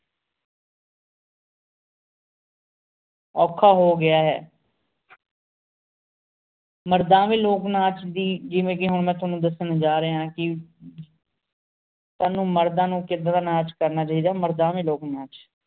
ਔਖਾ ਹੋ ਗਯਾ ਹੈਂ ਮਰਦਾਵੇਂ ਲੋਕ ਨਾਚ ਦੀ ਜਿਵੇ ਕਿ ਹੁਣ ਮੈਂ ਤੁਵਾਨੁ ਦਸਣ ਜਾ ਰਿਹਾ ਮਰਦਾਵੇਂ ਲੋਕ ਨਾਚ ਦੀ ਜਿਵੇ ਕਿ ਹੁਣ ਮੈਂ ਤੁਵਾਨੁ ਦਸਣ ਜਾ ਰਿਹਾ